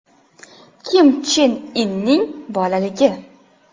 Kim Chen Inning bolaligi.